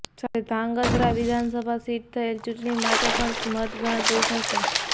સાથે ધ્રાંગધ્રા વિધાનસભા સીટ થયેલ ચૂંટણી માટે પણ મત ગણતરી થશે